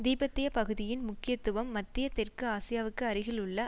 திபெத்திய பகுதியின் முக்கியத்துவம் மத்திய தெற்கு ஆசியாவுக்கு அருகில் உள்ள